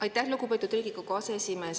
Aitäh, lugupeetud Riigikogu aseesimees!